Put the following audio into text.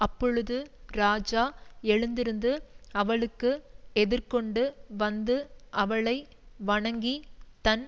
அப்பொழுது ராஜா எழுந்திருந்து அவளுக்கு எதிர்கொண்டு வந்து அவளை வணங்கி தன்